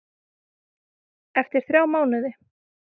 Eftir þrjá mánuði?